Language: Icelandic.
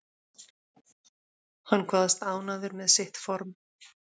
Hann kvaðst ánægður með sitt form